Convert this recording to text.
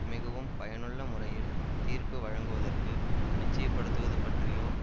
மிகவும் பயனுள்ள முறையில் தீர்ப்பு வழங்குவதற்கு நிச்சயப்படுத்தவது பற்றியோ